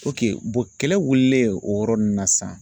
kɛlɛ wililen o yɔrɔ ninnu na sisan